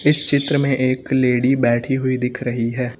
इस चित्र में एक लेडी बैठी हुई दिख रही है।